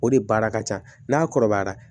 O de baara ka ca n'a kɔrɔbayara